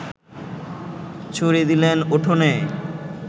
ছুঁড়ে দিলেন উঠোনে